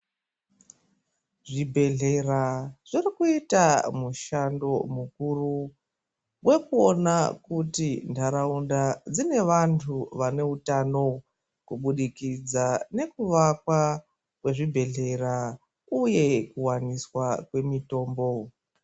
Zvi bhedhlera zviri kuita mushando mukuru wekuona kuti ndaraunda dzine vantu vane utano kubudikidza neku wakwa kwe zvibhedhlera uye kuwaniswa kwe mutombo.